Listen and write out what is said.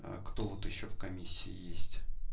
а кто вот ещё в комиссии есть